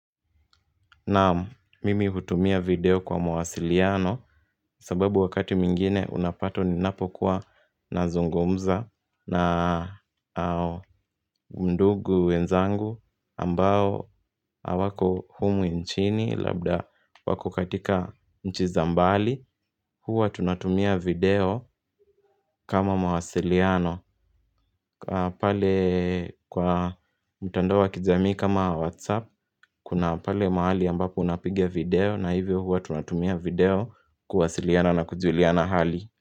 Naan, mimi hutumia video kwa mwasiliano. Sababu wakati mwingine unapata ni napokuwa na zungumza na ndugu wenzangu ambao hawako humu nchini, labda wako katika nchi zambali. Huwa tunatumia video. Kama mawasiliano pale kwa mtandao wa kijamii kama Whatsapp kuna pale mahali ambapo unapigia video na hivyo huwa tunatumia video kuwasiliana na kujuliana hali.